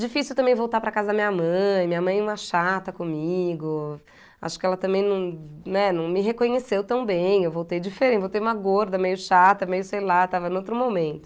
Difícil também voltar para casa da minha mãe, minha mãe é uma chata comigo, acho que ela também não, né, não, me reconheceu tão bem, eu voltei diferente, voltei uma gorda, meio chata, meio sei lá, estava num outro momento.